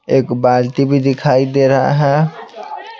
एक बालती भी दिखाई दे रहा है।